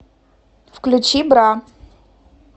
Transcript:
включи бра